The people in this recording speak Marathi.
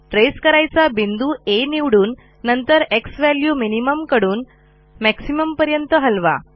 ट्रेस करायचा बिंदू आ निवडून नंतर झ्वॅल्यू मिनिमम कडून मॅक्सिमम पर्यंत हलवा